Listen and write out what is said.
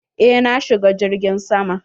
Eh na shiga jirgin sama.